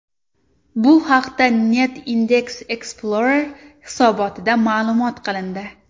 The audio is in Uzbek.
Bu haqda Net Index Explorer hisobotida ma’lum qilindi .